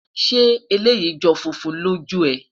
ṣé eleyii jọ funfun lòó jù é?